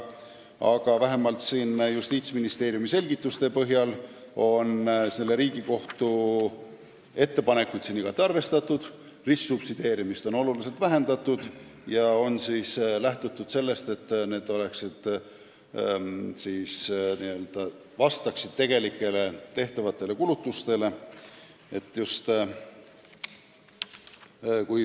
Aga vähemalt Justiitsministeeriumi selgituste põhjal võib arvata, et Riigikohtu ettepanekuid on igati arvestatud, ristsubsideerimist on oluliselt vähendatud ja on lähtutud sellest, et need määrad vastaksid tegelikele kulutustele.